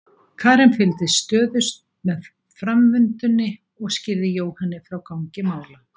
Karen fylgdist stöðugt með framvindunni og skýrði Jóhanni frá gangi mála.